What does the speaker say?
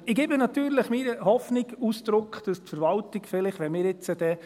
Und ich gebe natürlich meiner Hoffnung Ausdruck, dass die Verwaltung vielleicht, wenn wir jetzt dann